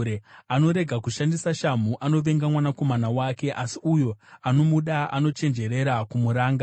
Anorega kushandisa shamhu anovenga mwanakomana wake, asi uyo anomuda anochenjerera kumuranga.